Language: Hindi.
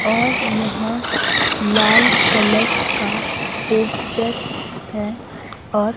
और यहां लाल कलर का पोस्टर है और--